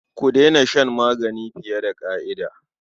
Ku daina shan magani fiye da ƙima.